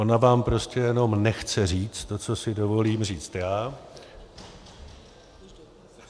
Ona vám prostě jenom nechce říct to, co si dovolím říct já.